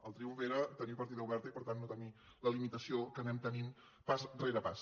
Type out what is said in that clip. el triomf era tenir partida oberta i per tant no tenir la limitació que anem tenint pas rere pas